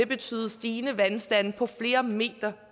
betyde stigende vandstande på flere meter